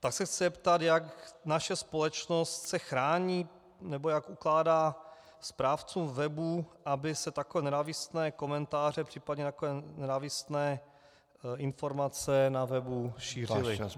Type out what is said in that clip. Tak se chci zeptat, jak naše společnost se chrání nebo jak ukládá správcům webů, aby se takové nenávistné komentáře, případně takové nenávistné informace na webu šířily (?).